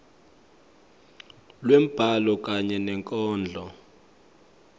lwembhalo kanye nenkondlo